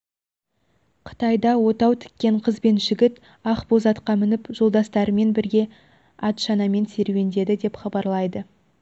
қытайда отау тіккен қыз бен жігіт ақ боз атқа мініп жолдастарымен бірге атшанамен серуендеді деп хабарлайды